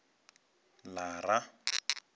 lara